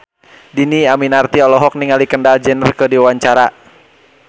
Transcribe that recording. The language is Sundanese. Dhini Aminarti olohok ningali Kendall Jenner keur diwawancara